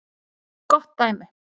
Gott dæmi